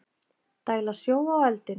Dæla sjó á eldinn